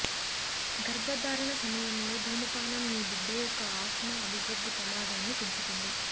గర్భధారణ సమయంలో ధూమపానం మీ బిడ్డ యొక్క ఆస్త్మా అభివృద్ధి ప్రమాదాన్ని పెంచుతుంది